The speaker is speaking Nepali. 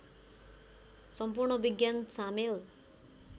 सम्पूर्ण विज्ञान सामेल